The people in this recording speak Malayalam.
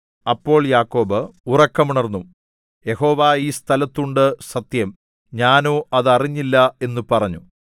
അപ്പോൾ യാക്കോബ് ഉറക്കമുണർന്നു യഹോവ ഈ സ്ഥലത്തുണ്ട് സത്യം ഞാനോ അത് അറിഞ്ഞില്ല എന്നു പറഞ്ഞു